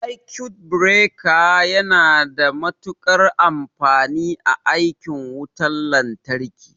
Sakut bireka suna da matuƙar amfani a aikin wutan lantarki.